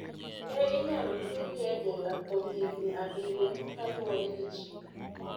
Ne inyalo twegi e jela kuom higini abiriyo" kaluore gi chik.